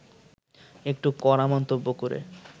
একটু কড়া মন্তব্য করে